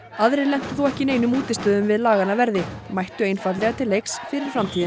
aðrir lentu þó ekki í neinum útistöðum við laganna verði mættu einfaldlega til leiks fyrir framtíðina